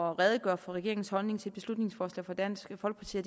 og redegør for regeringens holdning til et beslutningsforslag fra dansk folkeparti